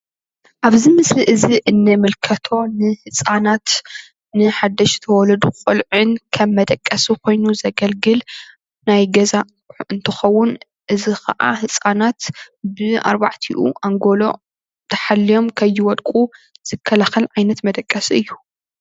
ኣብዚ ምስሊ እዚ ንምልከቶ ንህፃናት ንሓደሽቲ ወለዶ ቆልዑን ከም መደቀሲ ኮይኑ ዘገልግል ናይ ገዛ ኣቑሑ እንትኸውን እዚ ኻዓ ህፃናት ብኣርባዕቲኡ ኣንጎሎ ተሓልዮም ከይወድቁ ዝከላኸል ዓይነት መደቀሲ እዩ።